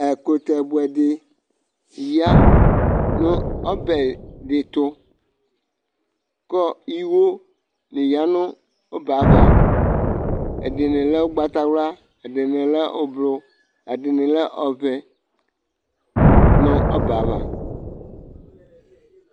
ɛƙʊtɛɓʊɛɗɩ ƴanʊ ɔɓɛtʊ ɩwo nɔwɔwɔ ƴanʊ ɔɓɛaʋa ɩɗɩnɩlɛ ʊgɓatawlʊa ɛɗɩnɩlɛmʊ aʋaʋlɩ, ɛɗɩnɩlɛ ɔʋɛ nʊ ɔɓɛaʋa